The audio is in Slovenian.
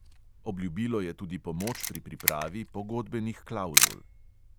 Obljubilo je tudi pomoč pri pripravi pogodbenih klavzul.